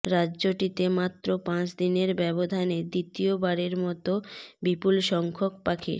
রাজ্যটিতে মাত্র পাঁচদিনের ব্যবধানে দ্বিতীয়বারের মতো বিপুল সংখ্যক পাখির